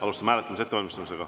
Alustame hääletamise ettevalmistamist.